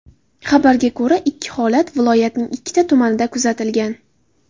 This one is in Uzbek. Xabarga ko‘ra, ikki holat viloyatning ikkita tumanida kuzatilgan.